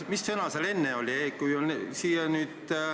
Mis sõna seal enne oli?